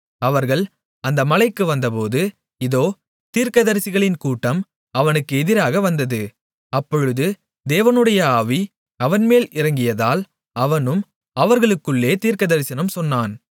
அவர்கள் அந்த மலைக்கு வந்தபோது இதோ தீர்க்கதரிசிகளின் கூட்டம் அவனுக்கு எதிராக வந்தது அப்பொழுது தேவனுடைய ஆவி அவன்மேல் இறங்கியதால் அவனும் அவர்களுக்குள்ளே தீர்க்கதரிசனம் சொன்னான்